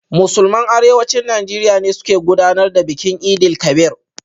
Musulman Arewacin Najeriya ne suka gudanar da bikin Eid-el-Kabir.